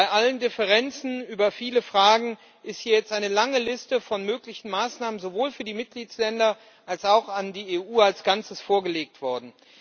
Bei allen Differenzen über viele Fragen ist hier jetzt eine lange Liste von möglichen Maßnahmen sowohl für die Mitgliedstaaten als auch für die EU als Ganzes vorgelegt worden.